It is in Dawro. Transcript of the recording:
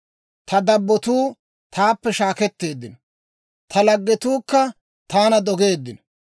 Ta dabbotuu taappe shaakketteeddino; ta laggetuukka taana dogeeddino.